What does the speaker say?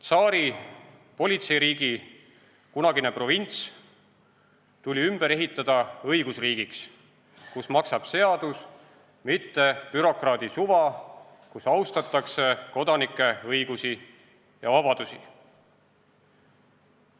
Tsaari politseiriigi kunagine provints tuli ümber ehitada õigusriigiks, kus maksab seadus, mitte bürokraadi suva, kus austatakse kodanike õigusi ja vabadusi.